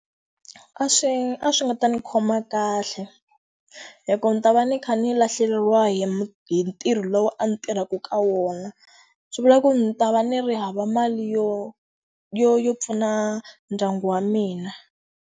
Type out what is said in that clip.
A swi a swi nga ta ndzi khoma kahle. Hikuva ndzi ta va ndzi kha ndzi lahlekeriwa hi hi ntirho lowu a ndzi tirhaka ka wona. Swi vula ku ndzi ta va ndzi ri hava mali yo yo yo pfuna ndyangu wa mina.